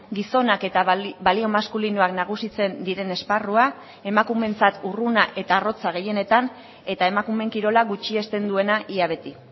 gizonak eta balio maskulinoak nagusitzen diren esparrua emakumeentzat urruna eta arrotza gehienetan eta emakumeen kirola gutxiesten duena ia beti